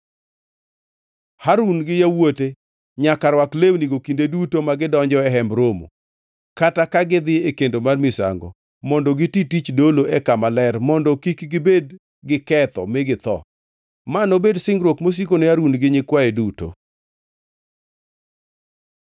Harun gi yawuote nyaka rwak lewnigo kinde duto ma gidonjo e Hemb Romo, kata ka gidhi e kendo mar misango mondo giti tich dolo e Kama Ler mondo kik gibed giketho mi githo. “Ma nobed singruok mosiko ne Harun gi nyikwaye duto.